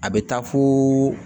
A bɛ taa fo